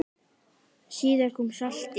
Síðar kom saltið.